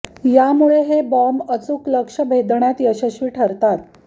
यामुळे हे बॉम्ब अचूक लक्ष्य भेदण्यात यशस्वी ठरतात